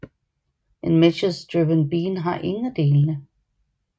En message driven bean har ingen af delene